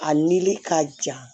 A nili ka jan